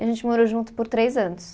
A gente morou junto por três anos.